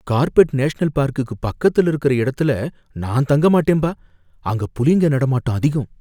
carpet national பார்க்குக்கு பக்கத்துல இருக்கிற இடத்துல நான் தங்க மாட்டேன்பா, அங்க புலிங்க நடமாட்டம் அதிகம்